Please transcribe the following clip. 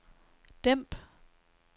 dæmp